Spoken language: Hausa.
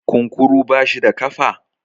kunkuru bashi da kafa?